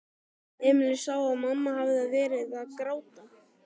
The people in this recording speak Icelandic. Emil sá að mamma hafði verið að gráta.